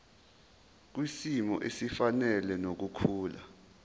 kwisimo esifanele nokukhula